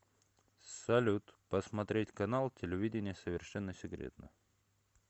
салют посмотреть канал телевидения совершенно секретно